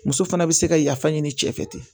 Muso fana bɛ se ka yafa ɲini cɛ fɛ ten